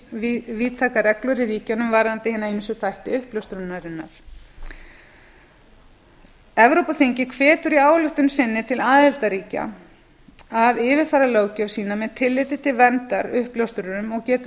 en misvíðtækar reglur í ríkjunum varðandi hina ýmsu þætti uppljóstrunarinnar evrópuþingið hvetur í ályktun sinni til aðildarríkja að yfirfara löggjöf sína með tilliti til verndar uppljóstrurum og getur